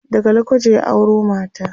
daga lokoja ya auro mata